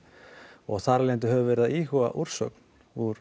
og þar af leiðandi höfum við verið að íhuga úrsögn úr